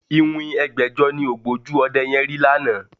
Iwin ẹgbẹ̀jọ ni ògbójú ọdẹ yẹn rí lánàá